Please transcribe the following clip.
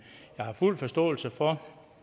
jeg har fuld forståelse for